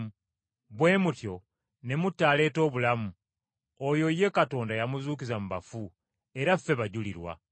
Bwe mutyo ne mutta aleeta obulamu; oyo ye Katonda yamuzuukiza mu bafu, era ffe bajulirwa.